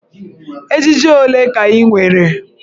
Ejiji ole ka ị nwere?